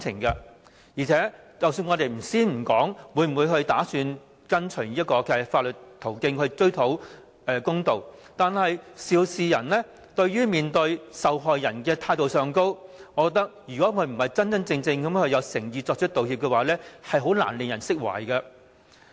而且，暫且不說會否循法律途徑追討公道，肇事人在面對受害人時，若態度上並非真正有誠意作出道歉，我認為也難以令人釋懷。